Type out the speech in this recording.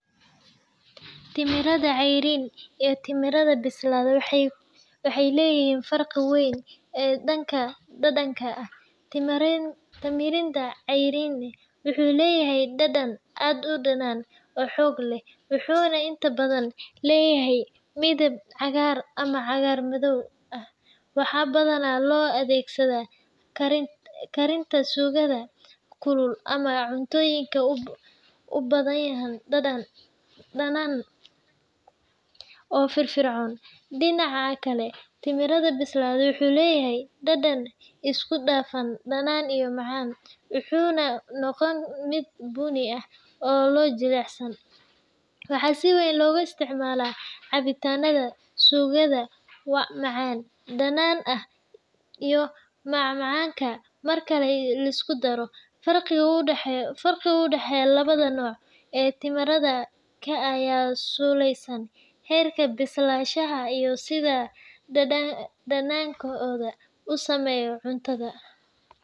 Tamarina cayriin iyo tamarinda bisil waxay leeyihiin farqi weyn oo dhanka dhadhanka ah. Tamarind cayriin wuxuu leeyahay dhadhan aad u dhanaan oo xoog leh, wuxuuna inta badan leeyahay midab cagaaran ama cagaar-madow ah. Waxaa badanaa loo adeegsadaa karinta suugada kulul ama cuntooyinka u baahan dhadhan dhanaan oo firfircoon. Dhinaca kale, tamarind bisil wuxuu leeyahay dhadhan isku dhafan dhanaan iyo macaan, wuxuuna noqdaa mid bunni ah oo jilicsan. Waxaa si weyn loogu isticmaalaa cabitaannada, suugada macaan-dhanaan ah, iyo macmacaanka. Marka la isku daro, farqiga u dhexeeya labada nooc ee tamarind-ka ayaa ku saleysan heerka bislaanshaha iyo sida dhadhankoodu u saameeyo cuntada.